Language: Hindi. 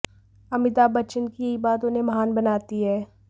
अमिताभ बच्चन की यही बात उन्हें महान बनाती है